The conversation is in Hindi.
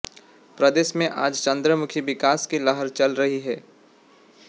प्रदेश में आज चहुंमुखी विकास की लहर चल रही है